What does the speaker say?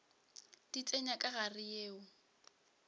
di tsenya ka gare yeo